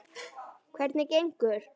Hvernig gengur?